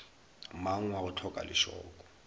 mang wa go hloka lešoko